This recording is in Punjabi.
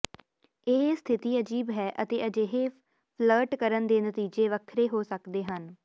ਇਹ ਸਥਿਤੀ ਅਜੀਬ ਹੈ ਅਤੇ ਅਜਿਹੇ ਫਲਰਟ ਕਰਨ ਦੇ ਨਤੀਜੇ ਵੱਖਰੇ ਹੋ ਸਕਦੇ ਹਨ